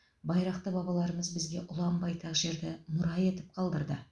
байрақты бабалармыз бізге ұлан байтақ жерді мұра етіп қалдырды